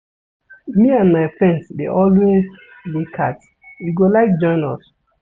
Me and my friends dey always play cards, you go like join us?